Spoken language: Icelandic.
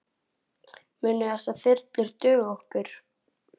Munu þessar þyrlur duga okkur?